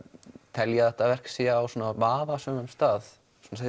telja að þetta verk sé á vafasömum stað